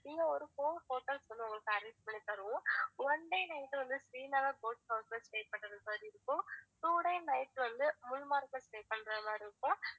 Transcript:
இங்க ஒரு four hotels வந்து உங்களுக்கு arrange பண்ணி தருவோம் one day night வந்து ஸ்ரீநகர் boat house ல stay பண்றது மாதிரி இருக்கும் two day night வந்து குல்மார்க்ல stay பண்றது மாதிரி இருக்கும்